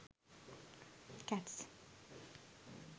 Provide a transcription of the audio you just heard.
cats